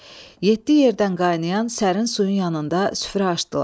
Yeddi yerdən qaynayan sərin suyun yanında süfrə açdılar.